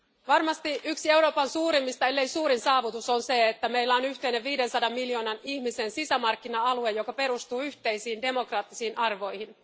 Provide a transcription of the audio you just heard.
Varmasti yksi Euroopan suurimmista, ellei suurin saavutus on se, että meillä on yhteinen 500 miljoonan ihmisen sisämarkkina alue, joka perustuu yhteisiin demokraattisiin arvoihin.